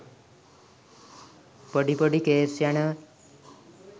පොඩි පොඩි කේස් යනවා.